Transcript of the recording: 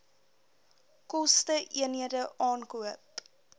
koste eenhede aankoop